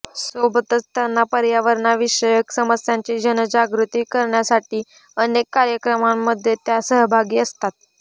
सोबतच त्यांना पर्यावरणविषयक समस्यांची जनजागृती करण्यासाठी अनेक कार्यक्रमामध्ये त्या सहभागी असतात